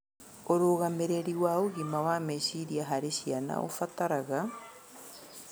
Ũrũgamĩrĩri wa ũgima wa meciria harĩ ciana ũbataraga